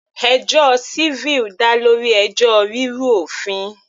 Ẹjọ́ civil dá lórí ẹjọ́ rírú òfin.